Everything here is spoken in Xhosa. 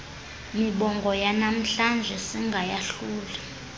mibongo yanamhlanje singayahluli